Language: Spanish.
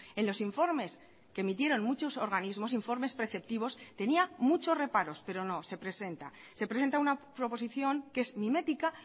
en los informes que emitieron muchos organismos informes preceptivos tenía muchos reparos pero no se presenta se presenta una proposición que es mimética